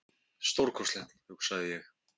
Stórkostlegt, hugsaði ég.